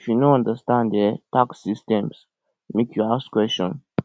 if you no understand um tax system make you ask questions